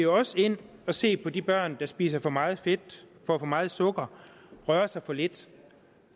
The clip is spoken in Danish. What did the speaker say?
også ind og se på de børn der spiser for meget fedt får for meget sukker og rører sig for lidt